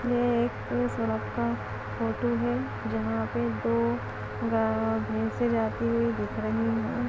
ये एक सड़क का फोटो है जहाँ पे दो गा-भैसे जाती हुई दिख रही हैं।